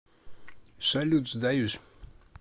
салют сдаюсь